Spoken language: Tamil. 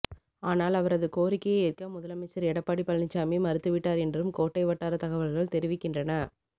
ஆனால் அவரது கோரிக்கையை ஏற்க முதலமைச்சர் எடப்பாடி பழனிச்சாமி மறுத்து விட்டார் என்றும் கோட்டை வட்டார தகவல்கள் தெரிவிக்கின்றன